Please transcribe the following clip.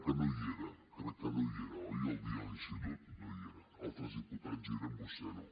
que no hi era crec que no hi era oi el dia de l’institut no hi era altres diputats hi eren vostè no